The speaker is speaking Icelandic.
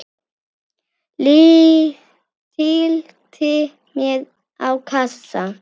Tyllti mér á kassa.